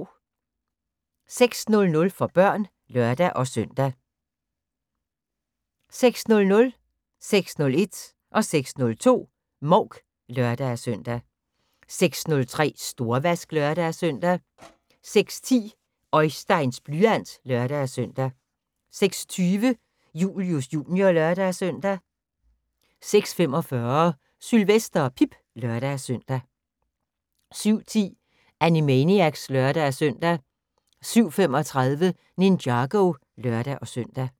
06:00: For børn (lør-søn) 06:00: Mouk (lør-søn) 06:01: Mouk (lør-søn) 06:02: Mouk (lør-søn) 06:03: Storvask (lør-søn) 06:10: Oisteins blyant (lør-søn) 06:20: Julius Jr. (lør-søn) 06:45: Sylvester og Pip (lør-søn) 07:10: Animaniacs (lør-søn) 07:35: Ninjago (lør-søn)